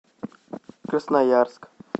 красноярск